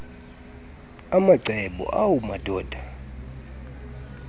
macebo awu madoda